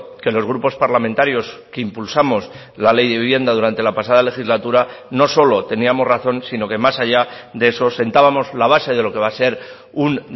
que los grupos parlamentarios que impulsamos la ley de vivienda durante la pasada legislatura no solo teníamos razón sino que más allá de eso sentábamos la base de lo que va a ser un